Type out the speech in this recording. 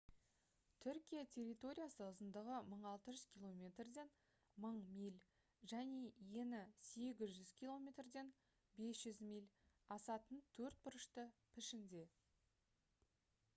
түркия территориясы ұзындығы 1600 км-ден 1000 миль және ені 800 км-ден 500 миль асатын төртбұрышты пішінде